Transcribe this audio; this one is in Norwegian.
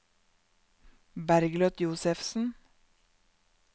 Bergljot Josefsen